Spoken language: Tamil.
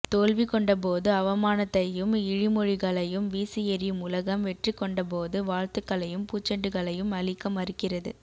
தோல்வி கொண்டபோது அவமானத்தையும் இழி மொழிகளையும் வீசி எறியும் உலகம் வெற்றி கொண்டபோது வாழ்த்துக்களையும் பூச்செண்டுகளையும் அளிக்க மறுக்கிறது